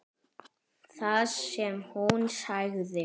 Það sem hún sagði